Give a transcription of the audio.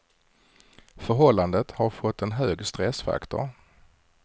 Förhållandet har fått en hög stressfaktor.